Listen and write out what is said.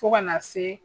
Fo ka na se